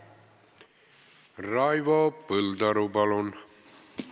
Raivo Põldaru, palun!